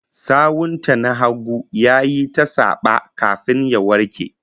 Sawun ta na hagu yayi ta saba, kafin ya warke